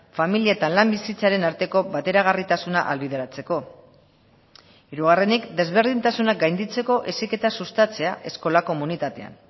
familia eta lan bizitzaren arteko bateragarritasuna ahalbideratzeko hirugarrenik desberdintasunak gainditzeko heziketa sustatzea eskola komunitatean